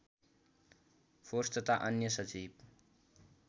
force तथा अन्य सजीव